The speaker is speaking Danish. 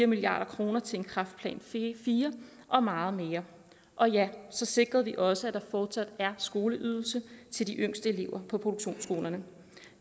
milliard kroner til kræftplan iv og meget mere og ja så sikrede vi også at der fortsat er skoleydelse til de yngste elever på produktionsskolerne